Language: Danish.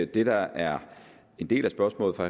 det der er en del af spørgsmålet fra